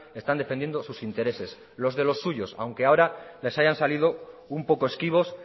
están defendiendo sus intereses los de los suyos aunque ahora les hayan salido un poco esquivos